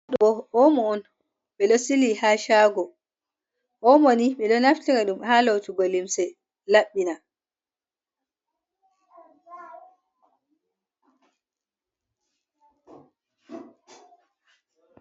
Ɗo omo on ɓe ɗo sili ha chago, omo ni ɓe ɗo naftira ɗum ha lotugo limse laɓɓina.